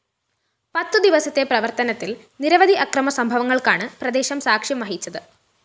പത്തുദിവസത്തെ പ്രവര്‍ത്തനത്തില്‍ നിരവധി അക്രമസംഭവങ്ങള്‍ക്കാണ് പ്രദേശം സാക്ഷ്യം വഹിച്ചത്